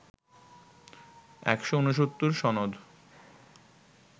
১৬৯ সনদ